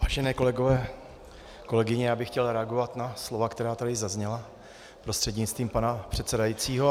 Vážené kolegyně, kolegové, já bych chtěl reagovat na slova, která tady zazněla, prostřednictvím pana předsedajícího.